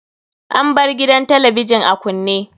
An bar gidan talabijin a kunne.